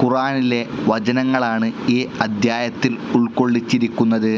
ഖുറാനിലെ വചനങ്ങളാണ് ഈ അദ്ധ്യായത്തിൽ ഉൾക്കൊള്ളിച്ചിരിക്കുന്നത്.